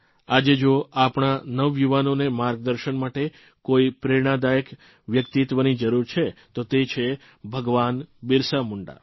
આજે જો આપણા નવયુવાનોને માર્ગદર્શન માટે કોઇ પ્રેરણાદાયક વ્યક્તિત્વની જરૂર છે તો તે છે ભગવાન બિરસા મુંડા